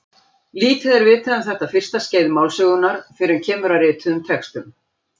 Lítið er vitað um þetta fyrsta skeið málsögunnar fyrr en kemur að rituðum textum.